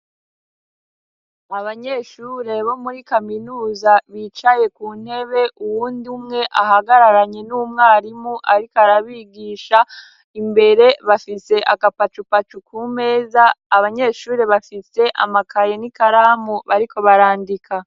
Sbanyeshure bo muri kaminuza bicaye kuntebe uwund'umwe ahagararanye n'umwarimu ariko arabigisha imbere bafise akapacupacu kumeza. Abanyeshure bafise amakaye n'ikaramu bariko barandika.